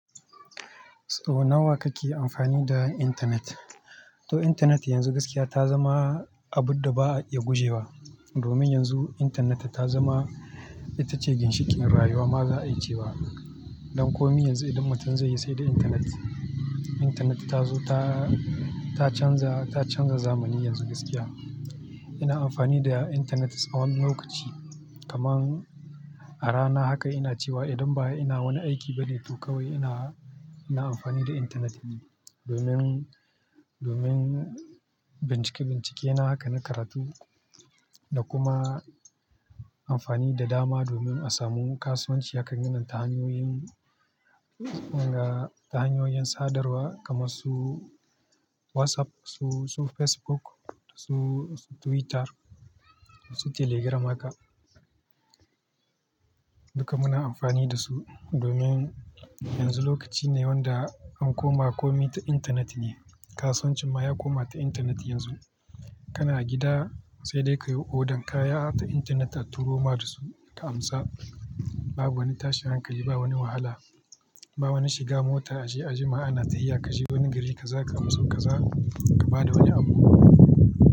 Sau nawa kake amfani da intanet? To, intanet yanzu gaskiya ta zama abun da ba a iya gujewa. Domin yanzu intaneta ta zama ita ce ginshikin rayuwa. Ma za a yi ce ba. Don kome yanzu idan mutum zai yi, sai da intanet. Intanet ta zo ta, ta canza, ta canza zamani yanzu gaskiya. Ina amfani da intanet tsawon lokaci. Kaman a rana haka ina cewa. Idan ba ina wani aiki bane to kawai ina, ina amfani da intanet ne. Domin, domin bincike-bincike na haka na karatu da kuma amfani da dama domin asamu kasuwanci haka gina tahaniyoyin, na tahanyoyin sadarwa kamar su WhatsApp, su, su Facebook, su, su Twitter, su Telegram haka. Duka muna amfani da su domin yanzu lokaci ne wanda an koma kome ta intanet ne. Ka suwancinma ya koma ta intanet yanzu. Kana a gida sai dai ka yi odan kaya ta intanet a turo ma dasu ka amsa. Babu wani tashin hankali, ba wani wahala, ba wani shiga mota a je a jima'a ana ta hiya ka je wani gari kaza ka amso kaza ka ba da wani abu.